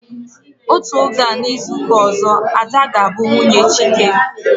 Otú oge a n'izuka ọzọ, Ada ga bụ nwunye Chike